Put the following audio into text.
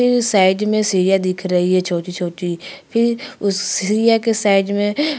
फिर साइड में सीढ़िया दिख रही है छोटी-छोटी फिर उस सीढ़िया के साइड में--